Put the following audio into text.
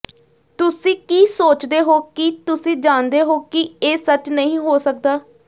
ਤੁਸੀਂ ਕੀ ਸੋਚਦੇ ਹੋ ਕਿ ਤੁਸੀਂ ਜਾਣਦੇ ਹੋ ਕਿ ਇਹ ਸੱਚ ਨਹੀਂ ਹੋ ਸਕਦਾ